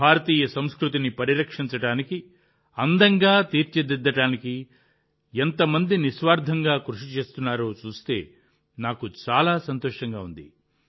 భారతీయ సంస్కృతిని పరిరక్షించడానికి అందంగా తీర్చిదిద్దడానికి ఎంత మంది నిస్వార్థంగా కృషి చేస్తున్నారో చూస్తే నాకు చాలా సంతోషంగా ఉంటుంది